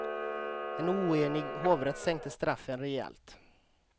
En oenig hovrätt sänkte straffen rejält.